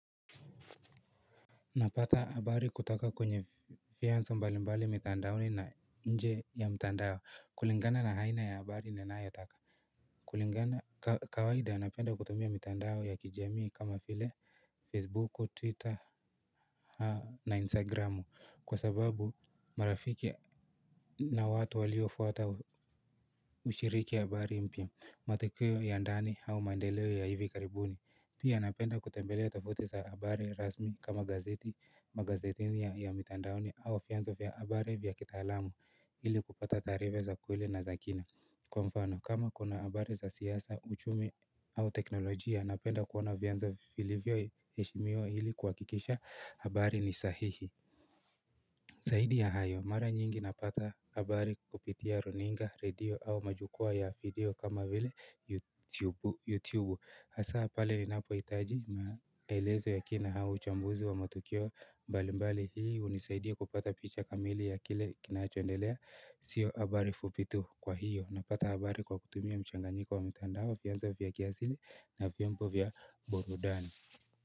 Napata habari kutoka kwenye fianzo mbalimbali mitandaoni na nje ya mitandao kulingana na aina ya habari inayotaka kulingana kawaida anapenda kutumia mitandao ya kijamii kama vile Facebook, Twitter na Instagram kwa sababu marafiki na watu waliofuata ushiriki habari mpya matokeo ya ndani au maendeleo ya hivi karibuni Pia napenda kutembelea tofauti za habari rasmi kama gazeti Magazetini ya mitandaoni au vyanzo vya habari vya kitaalam ili kupata taarifa za kweli na za kina Kwa mfano, kama kuna habari za siasa, uchumi au teknolojia Napenda kuona vyanzo vilivyoheshimiwa ili kuhakikisha habari ni sahihi Zaidi ya hayo, mara nyingi napata habari kupitia runinga, radio au majukua ya video kama vile yutubu yutubu hasa pale linapohitaji maelezo ya kina naya uchambuzi wa matukio mbali mbali hii hunisaidia kupata picha kamili ya kile kinachoendelea sio habari fupi tu kwa hiyo napata habari kwa kutumia mchanganyiko wa mtandao fiyanzo vya kiasili na vyombo vya burudani.